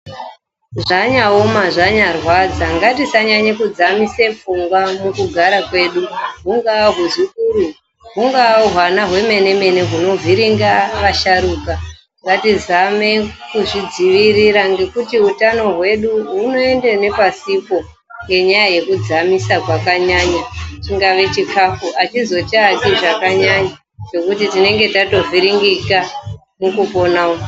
Zvanyanyooma zvanyarwadza ngatisadzamise pfungwa mukugara kwedu, hungava huzukuru hungava hwana hwemene mene hunovhiringa vasharukwa, ngatizame kuzvidzivirira ngekuti utano hwedu hunoenda nepasipo nenyaya yekudzamisa kwakanyanya chingave chikafu achizochachi zvakanyanya nekuti tinenge tatovhiringika nekufunga uku.